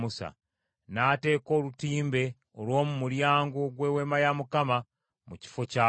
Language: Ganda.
N’ateeka olutimbe olw’omu mulyango gw’Eweema ya Mukama mu kifo kyalwo.